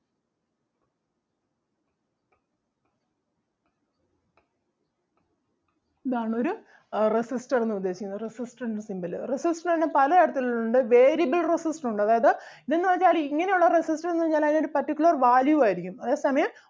ഇതാണ് ഒരു ah resistor എന്ന് ഉദ്ദേശിക്കുന്നത് resistor ൻ്റെ symbol അഹ് resistor തന്നെ പല തരത്തിൽ ഉണ്ട് variable resistor ഉണ്ട് അതായത് ഇത് എന്ന് വെച്ചാല് ഇങ്ങനെ ഉള്ള resistor എന്ന് പറഞ്ഞാല് അതിന് ഒരു particular value ആരിക്കും അതേ സമയം